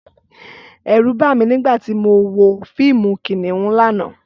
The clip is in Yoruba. Ẹ̀rù bà mí nígbà tí mo wo fíìmù Kìnìún lánàá